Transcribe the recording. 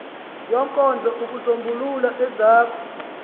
yenkonzo ukusombulula ezakho